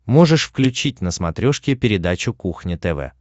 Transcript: можешь включить на смотрешке передачу кухня тв